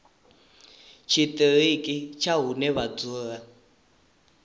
tshiṱiriki tsha hune vha dzula